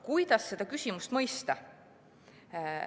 Kuidas ikkagi seda küsimust mõista?